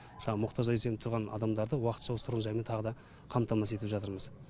жаңағы мұқтаждар есебінде тұрған адамдарды уақытша осы тұрғын жаймен тағы да қамтамасыз етіп жатырмыз